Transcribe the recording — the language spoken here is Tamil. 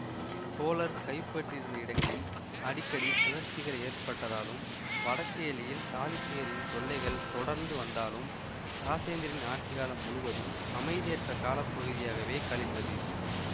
சோழர் கைப்பற்றியிருந்த இடங்களில் அடிக்கடி கிளர்ச்சிகள் ஏற்பட்டதாலும் வடக்கு எல்லையில் சாளுக்கியரின் தொல்லைகள் தொடர்ந்து வந்தாலும் இராசேந்திரனின் ஆட்சி காலம் முழுவதும் அமைதியற்ற காலப்பகுதியாகவே கழிந்தது